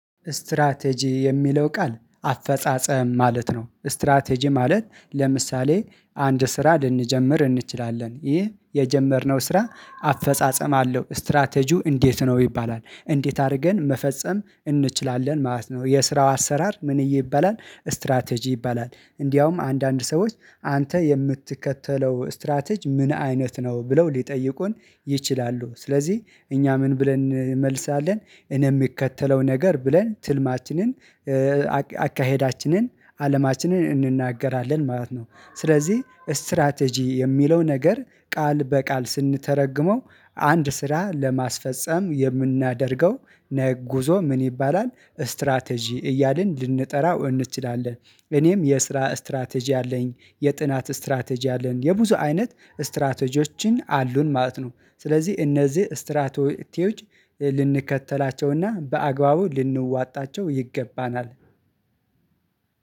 ስትራቴጂ የሚለው ቃል አፈጻጸም ማለት ነው። ስትራቴጂ ማለት ለምሳሌ አንድ ስራ ልንጀምር እንችላለን ይህ የጀመርነው ስራ አፈጻጸም አለው ስትራቴጂው እንዴት ነው? ይባላል እንዴት አድርገን መፈጸም እንችላለን ማለት ነው። የስራው አሰራር ምንዬ ይባላል ስትራቴጂ ይባላል። እንዴውም አንዳንድ ሰዎች አንተ የምትከተለው ስትራቴጅ ምን አይነት ነው? ብለው ሊጠይቁን ይችላሉ ስለዚህ እኛ ምን ብለን እንመልሳለን። እኔ የምከተለው ነገር ብለን ትልማችንን አካሄዳችንን አለማችንን እንናገራለን ማለት ነው። ስለዚህ ስትራቴጂ የሚለው ነገር ቃል በቃል ስንተረግመው አንድ ስራ ለማስፈፀም የምናደርገው ጉዞ ምን ይባላል ስትራቴጂ እያልን ልንጠራው እንችላለን። እኔም የስራ ስትራቴጂ አለኝ የጥናት ስትራቴጂ አለኝ የብዙ አይነት ስትራቴጂዎችን አሉን ማለት ነው። ስለዚህ እነዚህ ስትራቴዎች ልንከተላቸውና በአግባቡ ልንዋጣቸው ይገባናል።